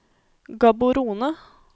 Gaborone